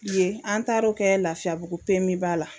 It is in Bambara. Yen an taar'o kɛ lafiyabugu pemiba la